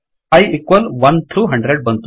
I equals 1 through 100